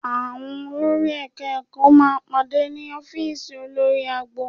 Àwọn olórí Ẹ̀ka-ẹ̀kọ́ máa pàdé ní ọ́fíìsì olórí agbo